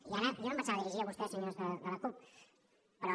i ara jo no em pensava dirigir a vostès senyors de la cup però